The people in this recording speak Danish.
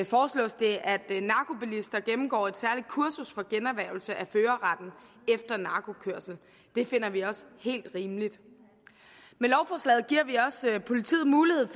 foreslås det at narkobilister gennemgår et særligt kursus for generhvervelse af førerretten efter narkokørsel det finder vi også helt rimeligt med lovforslaget giver vi også politiet mulighed